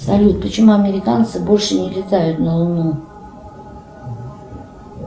салют почему американцы больше не летают на луну